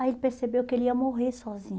Aí ele percebeu que ele ia morrer sozinho.